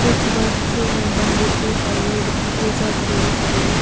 एक बस जो है बन्देपुर टाइगर रिजर्व बस है।